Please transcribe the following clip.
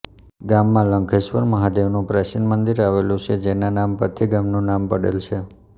ગામમાં લંઘેસ્વર મહાદેવનું પ્રાચીન મંદિર આવેલું છે જેના નામ પરથી ગામનું નામ પડેલ છે